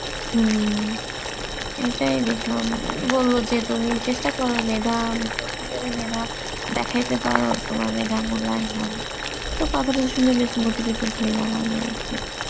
হম এটাই দেখলাম বলল তুমি চেষ্টা করো মেধা, আমি যতদূর জানি মেধা দেখাইতে পারো তোমার মেধার মূল্যায়ন হবে, তো কথাটা শুনে বেশ motivated হইলাম আমি আরকি